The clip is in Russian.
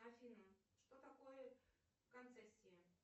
афина что такое концессия